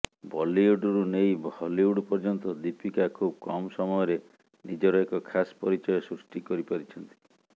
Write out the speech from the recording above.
ବଲିଉଡରୁ ନେଇ ହଲିଉଡ ପର୍ଯ୍ୟନ୍ତ ଦୀପିକା ଖୁବ କମ୍ ସମୟରେ ନିଜର ଏକ ଖାସ ପରିଚୟ ସୃଷ୍ଟି କରିପାରିଛନ୍ତି